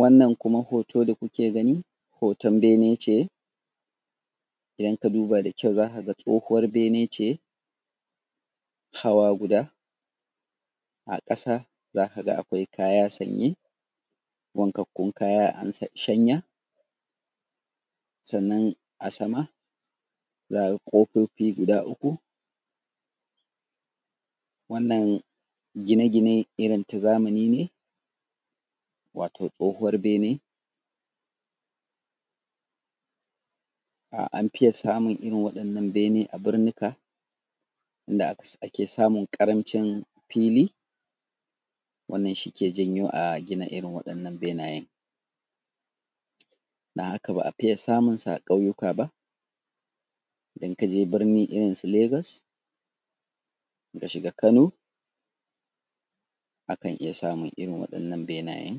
Wannan kuma hoto da kuke gani, hoton bene ce, idan ka duba da kyau za ka ga tsohuwar bene ce hawa guda, a ƙasa za ka ga akwai kaya sanye, wankakkun kaya an sa; shanya, sannan a sama, za ka ga ƙofofi guda uku. Wannan gine-gine irin ta zamani ne, wato tsohuwar bene, an fiya samun irin waɗannan bene a birnika inda aka s; ake samun ƙaramcin fili, wannan shi ke janyo a gina irin waɗannan benayen. Dan haka, ba a fiya samun sa a ƙauyuka ba Idan ka je birni irin su Legas, in ka shiga Kano, akan iya samun irin waɗannan benayen.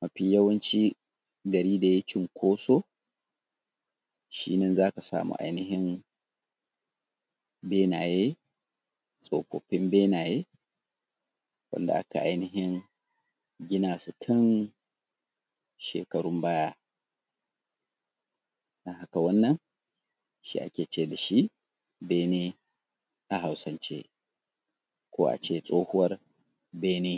Mafi yawanci gari da yai cinkoso, shi nan za ka samu ainihin benaye, tsofaffin benaye wanda aka ainihin gina su tun shekarun baya. To, wannan, shi ake ce da shi bene a Hausance, ko a ce tsohuwar bene.